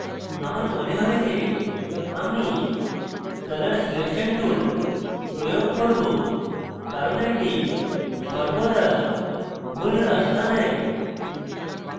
আমার মনে হয় যে আমি colour selection tool প্রয়োগ করব কারণ এটি সর্বদা tool রাস্তা নেয়